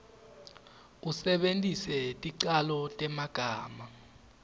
usebentise ticalo temagama